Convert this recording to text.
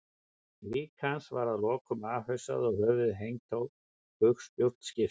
Lík hans var að lokum afhausað og höfuðið hengt á bugspjót skipsins.